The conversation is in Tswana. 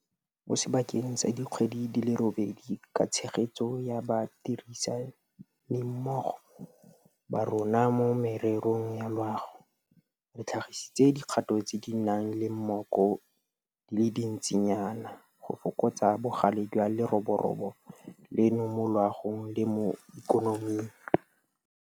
Mo sebakeng sa dikgwedi di le robedi ka tshegetso ya badirisanimmogo ba rona mo mererong ya loago, re tlhagisitse dikgato tse di nang le mmoko di le dintsinyana go fokotsa bogale jwa leroborobo leno mo loagong le mo ikonoming.